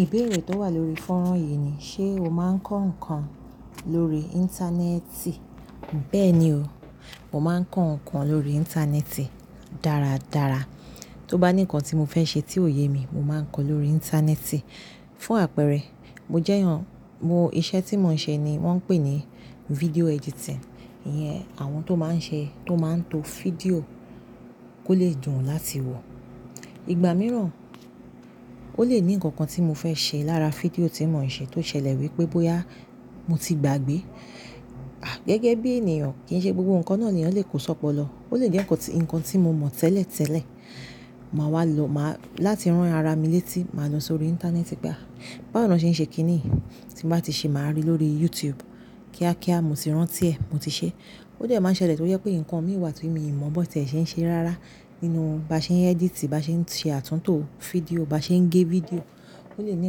Ìbéèrè tó wà lórí fọ́nrán yìí ni, ṣe o máa ń kọ́ nǹkan lórí Íńtánẹ́ẹ̀tì? Bẹ́ẹ̀ni o, mo máa ń kọ́ nǹkan lórí Íńtánẹ́ẹ̀tì dáradára. Tó bá ní nǹkan tí mo fẹ́ ṣe tí ò yé mi, mo máa ń kọ́ ọ lórí Íńtánẹ́ẹ̀tì. Fún àpẹẹrẹ, mo jẹ́ èèyàn, mo, iṣẹ́ tí mò ń ṣe ni wọ́n ń pè ní fídíò editing. Iyẹn, àwọn tó máa ń ṣe, tó máa ń to fídíò kó lè dùn láti wọ̀. Igba mìíràn, ó lè ní nǹkan kan tí mo fẹ́ ṣe lára fídíò tí mò ń ṣe tó ṣẹlẹ̀ wípé bóyá mo ti gbàgbé, à, gẹ́gẹ́ bí ènìyàn kì í ṣe gbogbo nǹkan náà ni àwọn lè kó sọ́pọ̀ lọ. Ó lè jẹ́ ǹkan tí mo mọ̀ tẹ́lẹ̀ tẹ́lẹ̀, màá wá lo, màá, láti rán ara mi létí, màá lọ sórí Íńtánẹ́ẹ̀tì pé a, báwo ni wọ́n ṣe ń ṣe kíní? Tí bá ti ṣe, màá rí lórí YouTube. Kíá kíá mo ti rántí ẹ̀, mo ti ṣe é. Ó jẹ́ máa ń ṣẹlẹ̀ tó jẹ́ pé nǹkan mí wà tí èmi mọ̀ bó tí ẹ ṣe ń ṣe rárá nínú bá ṣe ń editì, bá ṣe ń ṣe àtúntò fídíò, bá ṣe ń gé fídíò. Ó lè ní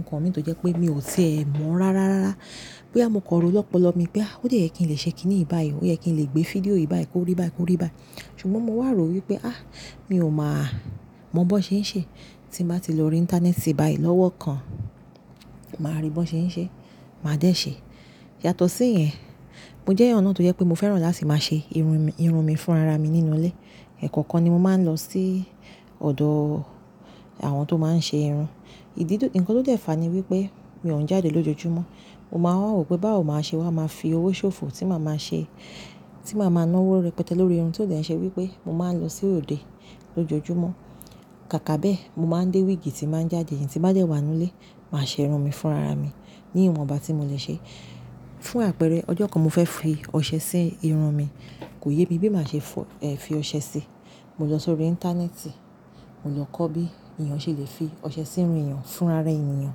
nǹkan mi tó jẹ́ pé mi ò ti è mọ̀ rárá rárá. Bóyá mo kọ̀ró lọ́pọ̀lọpọ̀ mi pé a, ó de yẹ kí n lè ṣe kíní yiì báyii, ó yẹ kí n lè gbé fídíò yì báyii o kó rí bá ẹ kó rí bá ẹ. Ṣùgbọ́n mo wá rò wípé a, mi ò máa mọ̀ bó ṣe ń ṣe. Tí mo bá ti lo Íńtánẹ́ẹ̀tì bá ì lọ́wọ́ kan, màá rí bó ṣe ń ṣe, màá dẹ̀ ṣe é. Yàtọ̀ sí ìyẹn, mo jẹ́ èèyàn náà tó jẹ́ pé mo fẹ́ràn láti máa ṣe irun mi fún ara mi nínú ilé. Ẹ̀ẹ̀kokan kan ni mo máa ń lọ sí ọ̀dọ̀ àwọn tó máa ń ṣe irun. Ìdí tó, ǹkan tó dọ̀tí fàá ni wípé mi ò ń jáde lójoojúmọ́. Mo máa wá rò pé báwo màá ṣe wá máa fi owó ṣòfò tí màá máa ṣe, tí màá máa ná owó rẹpẹtẹ lórí irun tó dẹ̀ ń ṣe wípé mo máa ń lọ sí òde lójoojúmọ́. Kàkà bá ẹ, mo máa ń dé wíìgì tí màá ń jájẹ yín tí bá jẹ́ wà nínú ilé, màá ṣe irun mi fún ara mi ní ìwọ̀nba tí mo lè ṣe. Fún àpẹẹrẹ, ọjọ́ kan mo fẹ́ fi ọṣẹ sí irun mi, kò yé mi bí màá ṣe fọ, ẹ́, fi ọṣẹ sí i. Mo lọ sórí Íńtánẹ́ẹ̀tì, mo lọ kọ́ bí èèyàn ṣe lè fi ọṣẹ sí irun èèyàn fún ara èèyàn.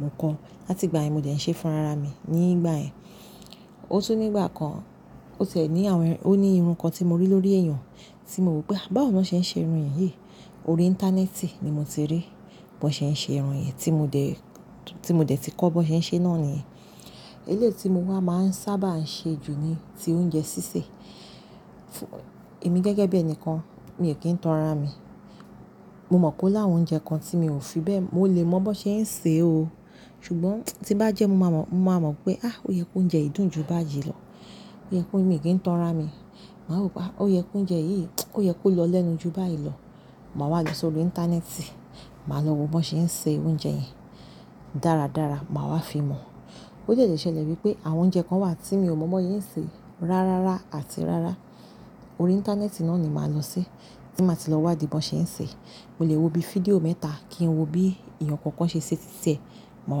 Mo kọ́, láti ìgbà yẹn mo dẹ̀ ń ṣe fún ara mi ní ìgbà yẹn. Ó tún ní ìgbà kan, ó tẹ̀ ní àwọn ẹ́, ó ní irun kan tí mo rí lórí èèyàn tí mo wí pé a, báwo ni wọ́n ṣe ń ṣe irun yìí? Orí Íńtánẹ́ẹ̀tì ni mo ti rí bi wan ṣe ń ṣe irun yìí tí mo dẹ̀, tí mo dẹ̀ ti kọ́ bó ṣe ń ṣe náà níyẹn. Eléyìí tí mo wá máa ń sábà ń ṣe jù ni ti oúnjẹ sísè. Emi gẹ́gẹ́ bí ẹnìkan, mi ò kí ń tan ara mi. Mo mọ̀ pé o láwọn oúnjẹ kan tí mi ò fi bẹ́ẹ̀, mo lè mọ̀ bó ṣe ń ṣe o. Ṣùgbọ́n tí bá jẹ́ mo máa mọ̀, mo máa mọ̀ pé a, ó yẹ kó jẹ́ ìdun ju báyìí lọ. Ó yẹ kó mi kì í tan ra mi. Màá rò pé a, ó yẹ kó jẹ́ yìí, ó yẹ kó lọ lẹ́nu ju báyìí lọ. Máa wá lọ sórí Íńtánẹ́ẹ̀tì, màá lọ wo bó ṣe ń ṣe oúnjẹ yìí dáradára, màá wá fi mọ̀. Ó de lè ṣẹlẹ̀ wípé àwọn oúnjẹ kan wà tí mi ò mọ̀ bó ṣe ń ṣe rárára àti rárá. Lórí Íńtánẹ́ẹ̀tì náà ni màá lọ sí, tí màá ti lọ wádìí bó ṣe ń ṣe. Mo lè wo bí fídíò mẹ́ta kí n wo bí èèyàn kankan ṣe ṣe títẹ, màá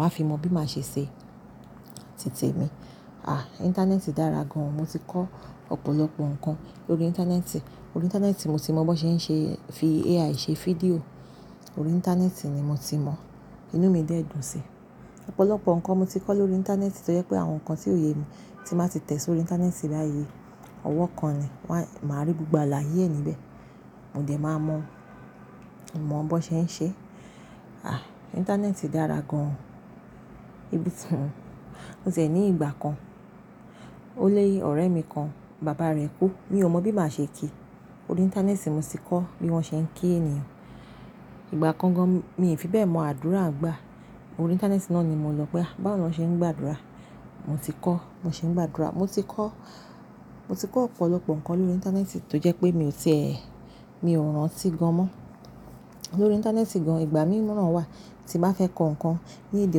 wá fi mọ̀ bí màá ṣe ṣe títè mi. A, Íńtánẹ́ẹ̀tì dára gan. Mo ti kọ́ ọ̀pọ̀lọpọ̀ nǹkan lórí Íńtánẹ́ẹ̀tì. Lórí Íńtánẹ́ẹ̀tì mo ti mọ̀ bó ṣe ń ṣe fi AI ṣe fídíò. Lórí Íńtánẹ́ẹ̀tì ni mo ti mọ̀ inú mi dẹ̀ dùn sí. Ọ̀pọ̀lọpọ̀ nǹkan mo ti kọ́ lórí Íńtánẹ́ẹ̀tì tó jẹ́ pé àwọn nǹkan tí ò yé mi tí màá ti tẹ̀ sórí Íńtánẹ́ẹ̀tì báyìí, ọwọ́ kan ni, wá, màá rí gbogbo àlàyé níbẹ̀. Mo dẹ̀ máa mọ̀, mọ̀ bó ṣe ń ṣe. A, Íńtánẹ́ẹ̀tì dára gan-an. Íbí tún, ó tẹ̀ ní ìgbà kan, ó ni ọ̀rẹ́ mi kan, bàbá rẹ̀ kú, mi ò mọ̀ bí màá ṣe kí. Órí Íńtánẹ́ẹ̀tì mo ti kọ́ bí wọ́n ṣe ń kí èniyàn. Ìgbà kan gan mi ò fi bẹ́ẹ̀ mọ àdúrà gbà. Orí Íńtánẹ́ẹ̀tì náà ni mo lọ pé a, báwo ni wọ́n ṣe ń gba àdúrà? Mo ti kọ́, mo ṣe ń gba àdúrà. Mo ti kọ́, mo ti kọ́ ọ̀pọ̀lọpọ̀ nǹkan lórí Íńtánẹ́ẹ̀tì tó jẹ́ pé mi ò ti è, mi ò rántí gan mọ́. Lórí Íńtánẹ́ẹ̀tì gan ìgbà mìíràn wà tí bá fẹ́ kọ nǹkan ní èdè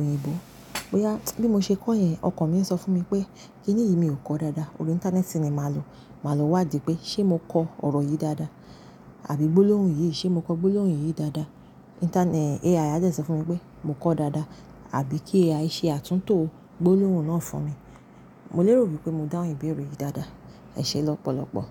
òyìnbó, bóyá bí mo ṣe kọ́ ẹ̀, ọkọ̀ mi ń sọ fún mi pé kíní yìí mi ò kọ dáadáa. Lórí Íńtánẹ́ẹ̀tì ni màá lo. Màá lo wádìí pé ṣé mo kọ ọ̀rọ̀ yìí dáadáa? Àbí gbólóhùn yìí, ṣé mo kọ gbólóhùn yìí dáadáa? Íńtánẹ́ẹ̀tì, AI á dẹ̀ sọ fún mi pé mo kọ dáadáa àbí kí AI ṣe àtúntò gbólóhùn náà fún mi. Mo lérò wípé mo dáhùn ìbéèrè yìí dáadáa. Ẹ ṣé lọ́pọ̀lọpọ̀.